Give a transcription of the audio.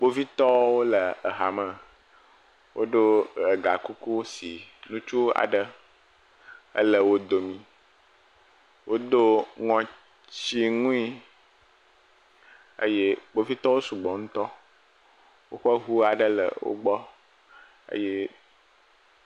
Kpovitɔwo le hame. Woɖo gakuku si ŋutsu aɖe ele wo domi, wodo ŋɔtinui eye kpovitɔ sugbɔ ŋutɔ. Woƒe ŋu aɖe le wo gbɔ eye …